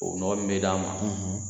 O ɲɔ min bɛ d'a ma